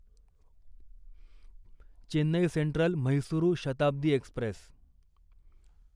Chennai central Mysuru Shatabdi Express